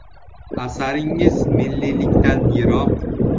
Asaringiz milliylikdan yiroq.